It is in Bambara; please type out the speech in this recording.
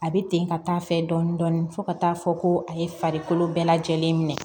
A bɛ ten ka taa fɛ dɔɔnin dɔɔnin fo ka taa fɔ ko a ye farikolo bɛɛ lajɛlen minɛ